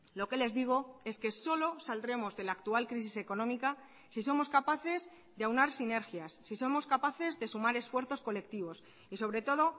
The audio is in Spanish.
lo que les digo es que solo saldremos de la actual crisis económica si somos capaces de aunar sinergias si somos capaces de sumar esfuerzos colectivos y sobre todo